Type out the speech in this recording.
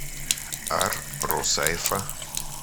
ар русайфа